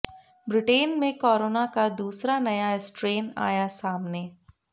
Britain में corona का दूसरा नया स्ट्रेन आया सामने